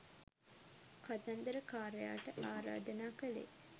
කතන්දර කාරයාට ආරාධනා කළේ